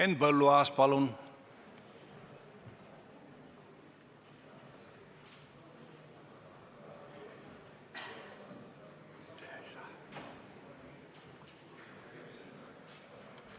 Henn Põlluaas, palun!